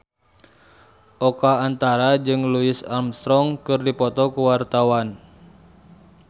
Oka Antara jeung Louis Armstrong keur dipoto ku wartawan